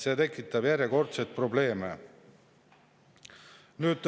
See tekitab järjekordseid probleeme.